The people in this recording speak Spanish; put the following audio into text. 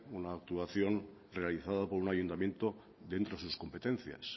una actuación realizada por un ayuntamiento dentro de sus competencias